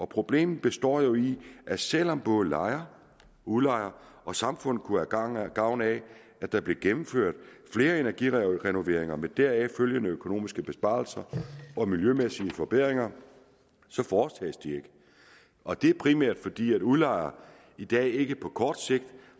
problemet består jo i at selv om både lejer udlejer og samfund kunne have gavn af at der blev gennemført flere energirenoveringer med deraf følgende økonomiske besparelser og miljømæssige forbedringer så foretages de ikke og det er primært fordi udlejere i dag ikke på kort sigt